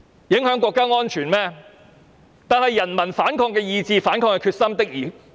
然而，人民反抗的意志和決心確實很強。